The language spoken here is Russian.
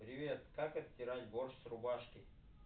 привет как отстирать борщ с рубашкой